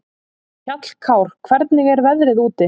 Hjallkár, hvernig er veðrið úti?